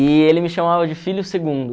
E ele me chamava de filho segundo.